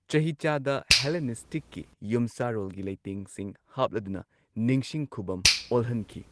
ꯆꯍꯤꯆꯥꯗ ꯍꯦꯂꯦꯅꯤꯁꯇꯤꯛꯀꯤ ꯌꯨꯝꯁꯥꯔꯣꯜꯒꯤ ꯂꯩꯇꯦꯡꯁꯤꯡ ꯍꯥꯞꯂꯗꯨꯅ ꯅꯤꯡꯁꯤꯡ ꯈꯨꯕꯝ ꯑꯣꯜꯍꯟꯈꯤ꯫